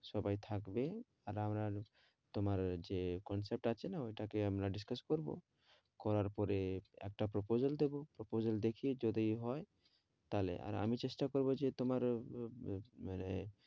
সবাই থাকবে আর আমরাও তোমার যে concept টা আছে না ওইটা কে discuss করবো, করার পরে একটা proposal দেবো proposal দেখি যদি হয় তাহলে আর আমি চেষ্টা করবো যে তোমার আহ আহ মানে